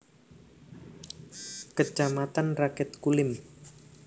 Kecamatan Rakit Kulim